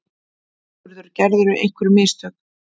SIGURÐUR: Gerðirðu einhver mistök?